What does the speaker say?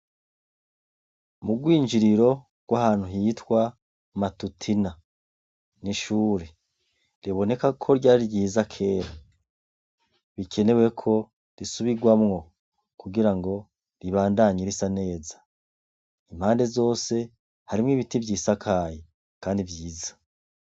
Mu rwinjiriro rw'ahantu hitwa Matutina: Ni ishure riboneka ko ryari ryiza kera bikenewe ko risubirwamwo kugira ngo ribandanye risa neza . Impande zose, harimwo ibiti vyisakaye kandi vyiza.